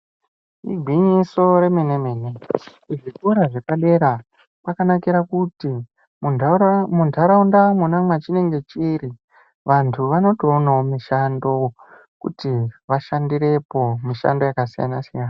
Igwinyiso remene-mene, kuzvikora zvepadera, kwakanakira kuti, muntarau muntaraunda mwona mwachinenge chiri, vantu vanotoonawo mishando, kuti vashandirepo, mishando yakasiyana-siyana.